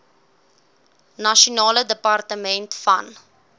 nasionale departement van